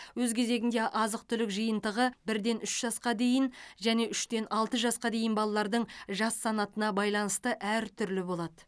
өз кезегінде азық түлік жиынтығы бірден үш жасқа дейін және үштен алты жасқа дейін балалардың жас санатына байланысты әр түрлі болады